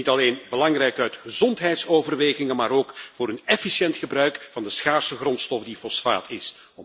Dit is niet alleen belangrijk uit gezondheidsoverwegingen, maar ook voor een efficiënt gebruik van de schaarse grondstof die fosfaat is.